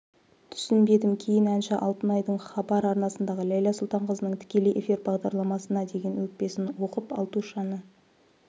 түсінбедім кейін әнші алтынайдың хабар арнасындағы ләйла сұлтанқызының тікелей эфир бағдарламасына деген өкпесін оқып алтушаны